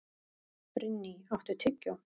Brynný, áttu tyggjó?